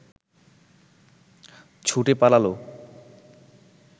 ছুটে পালাল